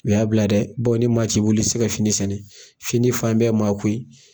U y'a bila dɛ bawo ni maa t'i bolo i ti se ka fini sɛnɛ, fini fan bɛɛ ye maa ko ye.